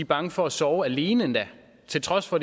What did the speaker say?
bange for at sove alene til trods for